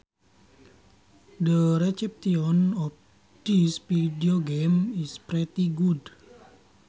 The reception of this videogame is pretty good